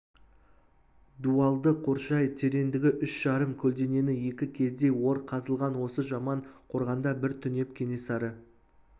дуалды қоршай тереңдігі үш жарым көлденеңі екі кездей ор қазылған осы жаман қорғанда бір түнеп кенесары